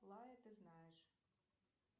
лая ты знаешь